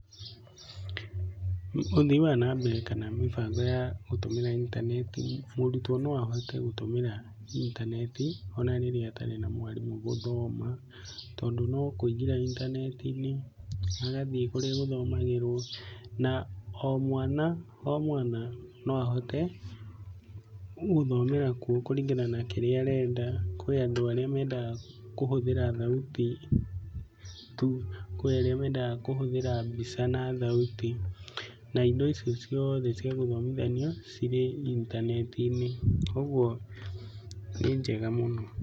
Ũthii wa na mbere kana mĩbango ya gũtũmĩra intaneti, mũrutwo no ahote gũtũmĩra intaneti ona rĩrĩa atarĩ na mwarimũ gũthoma tondũ no kũingĩra intaneti-inĩ, agathiĩ kũrĩa gũthomagĩrwo, na o mwana o mwana no ahote gũthomera kuo kũringana na kĩrĩa arenda. Kũrĩ andũ arĩa mendaga kũhũthĩra thauti tu, kũrĩ arĩa mendaga kũhũthĩra mbica na thauti na indo icio ciothe cia gũthomithania cirĩ intaneti-inĩ, koguo nĩ njega mũno.